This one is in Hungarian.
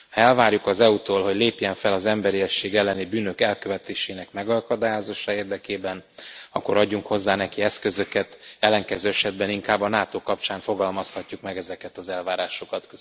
Ha elvárjuk az EU tól, hogy lépjen fel az emberiesség elleni bűnök elkövetésének megakadályozása érdekében, akkor adjunk hozzá neki eszközöket, ellenkező esetben inkább a NATO kapcsán fogalmazhatjuk meg ezeket az elvárásokat.